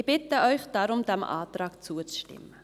Ich bitte Sie deshalb, diesem Antrag zuzustimmen.